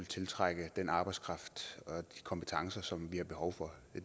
tiltrække den arbejdskraft og de kompetencer vi har behov for